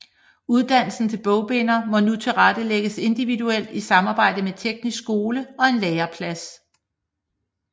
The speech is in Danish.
Uddannelse til bogbinder må nu tilrettelægges individuelt i samarbejde med Teknisk Skole og en læreplads